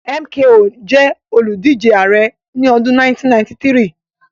MKO jẹ́ olùdíje ààrẹ́ ní ọdún 1993